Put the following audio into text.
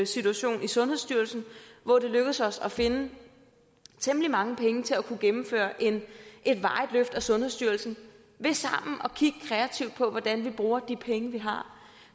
situation i sundhedsstyrelsen hvor det lykkedes os at finde temmelig mange penge til at kunne gennemføre et varigt løft af sundhedsstyrelsen ved sammen at kigge kreativt på hvordan vi bruger de penge vi har